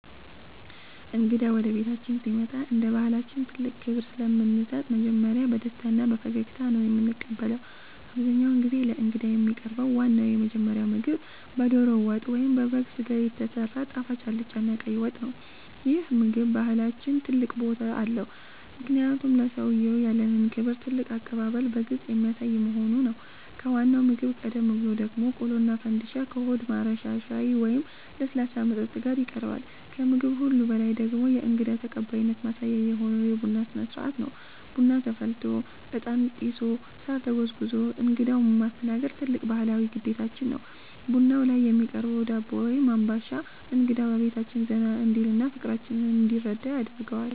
እንግዳ ወደ ቤታችን ሲመጣ እንደ ባሕላችን ትልቅ ክብር ስለምንሰጥ መጀመሪያ በደስታና በፈገግታ ነው የምንቀበለው። አብዛኛውን ጊዜ ለእንግዳ የሚቀርበው ዋናውና የመጀመሪያው ምግብ በደሮ ወጥ ወይም በበግ ሥጋ የተሰራ ጣፋጭ አልጫና ቀይ ወጥ ነው። ይህ ምግብ በባሕላችን ትልቅ ቦታ አለው፤ ምክንያቱም ለሰውየው ያለንን ክብርና ትልቅ አቀባበል በግልጽ የሚያሳይ በመሆኑ ነው። ከዋናው ምግብ ቀደም ብሎ ደግሞ ቆሎና ፈንድሻ ከሆድ ማረሻ ሻይ ወይም ለስላሳ መጠጥ ጋር ይቀርባል። ከምግብ ሁሉ በላይ ደግሞ የእንግዳ ተቀባይነት ማሳያ የሆነው የቡና ሥነ-ሥርዓት ነው። ቡና ተፈልቶ፣ ዕጣን ጢሶ፣ ሳር ተጎዝጉዞ እንግዳውን ማስተናገድ ትልቅ ባሕላዊ ግዴታችን ነው። ቡናው ላይ የሚቀርበው ዳቦ ወይም አምባሻ እንግዳው በቤታችን ዘና እንዲልና ፍቅራችንን እንዲረዳ ያደርገዋል።